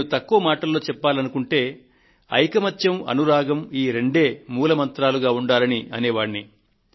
నేను తక్కువ మాటలలో చెప్పాలనుకుంటే ఐకమత్యం అనురాగం ఈ రెండే మూల మంత్రాలుగా ఉండాలని అనే వాడిని